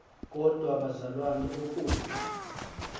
kodwa bazalwana oku